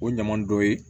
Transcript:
O ɲama dɔ ye